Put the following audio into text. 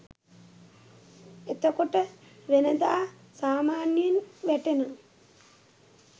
එතකොට වෙනදා සාමාන්‍යයෙන් වැටෙන